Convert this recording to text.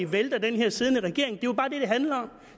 vælter den siddende regering det er jo bare det det handler om